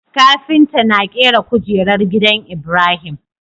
Kafinta na kera kujerar gidan ibrahim